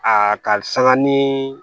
Aa ka sanga ni